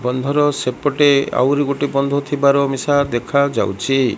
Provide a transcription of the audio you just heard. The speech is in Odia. ବଦ୍ଧର ସେପଟେ ଆଉରି ଗୋଟେ ବଦ୍ଧ ଥିବାର ମିସା ଦେଖାଯାଉଛି।